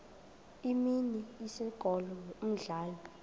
imini isikolo umdlalo